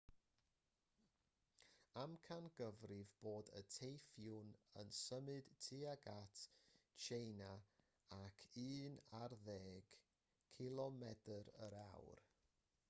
amcangyfrifir bod y teiffŵn yn symud tuag at tsieina ar un ar ddeg kph